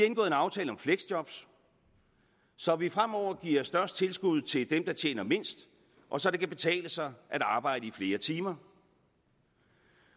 en aftale om fleksjob så så vi fremover giver størst tilskud til dem der tjener mindst og så det kan betale sig at arbejde i flere timer